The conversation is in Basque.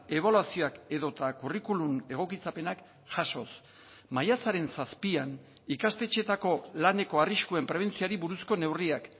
ebaluazioak edota kurrikulum egokitzapenak jasoz maiatzaren zazpian ikastetxeetako laneko arriskuen prebentzioari buruzko neurriak